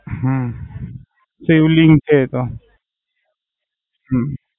હમ શિવલિંગ છે એ તો